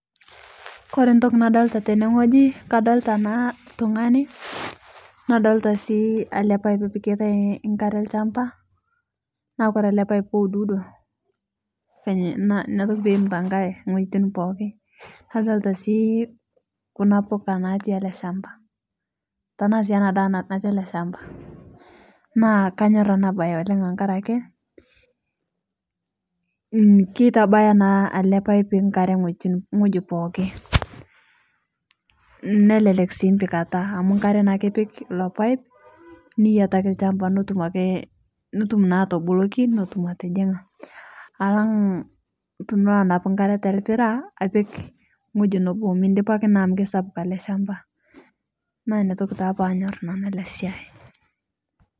Kore ntoki nadolita tene ng'oji, adolita naa ltung'ani nadolita sii ale pipe opiketai nkare lchamba, naa Kore ale pipe keududo venye inia toki peemita nkare ng'ojitin pookin. Nadolita sii kuna mbuka natii ale shamba tanaa sii ana daa nati ale shamba. Naa Kaanyor anabaye oleng' tankare ake, mmh keitabaya naa ale pipe nkare ng'ojitin ng'oji pooki, nnelelek sii mpikata amu nkare naake ipik ilo pipe niyataki lchamba nitum akee nitum naa atoboloki netum atijing'a, alang' tunulo anapu nkare telpira apik ng'oji nebo midipaki naa amu keisapuk ale shamba. Naa inia toki taa panyor nanu ana siai.